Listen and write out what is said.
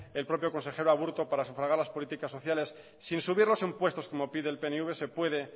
el propio consejero aburto para sufragar las políticas sociales sin subir los impuestos como pide el pnv se puede